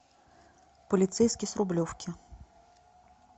полицейский с рублевки